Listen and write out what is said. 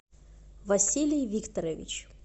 василий викторович